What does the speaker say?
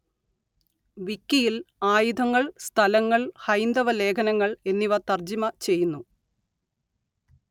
വിക്കിയില്‍ ആയുധങ്ങള്‍ സ്ഥലങ്ങള്‍ ഹൈന്ദവ ലേഖനങ്ങള്‍ എന്നിവ തര്‍ജ്ജമ ചെയ്യുന്നു